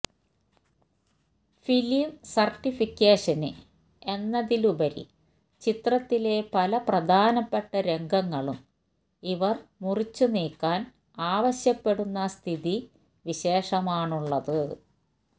film certification എന്നതിലുപരി ചിത്രത്തിലെ പല പ്രധാനപ്പെട്ട രംഗങ്ങളും ഇവര് മുറിച്ചു നീക്കാന് ആവശ്യപ്പെടുന്ന സ്ഥിതി വിശേഷമാണുള്ളത്